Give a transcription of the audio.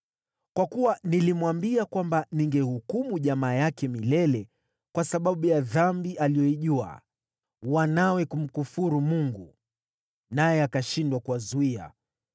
Kwa kuwa nilimwambia kwamba ningehukumu jamaa yake milele kwa sababu ya dhambi aliyoijua, wanawe kumkufuru Mungu, naye akashindwa kuwazuia.